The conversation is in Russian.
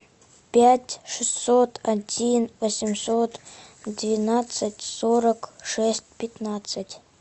пять шестьсот один восемьсот двенадцать сорок шесть пятнадцать